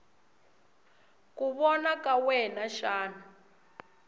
ku vona ka wena xana